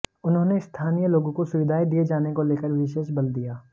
उन्होंने स्थानीय लोगों को सुविधाएं दिए जाने को लेकर विशेष बल दिया